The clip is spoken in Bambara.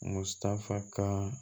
Mutanfan